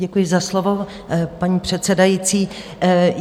Děkuji za slovo, paní předsedající.